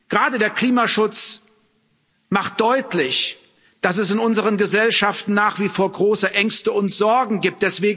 Gerade der Klimaschutz macht deutlich, dass es in unseren Gesellschaften nach wie vor große Ängste und Sorgen gibt.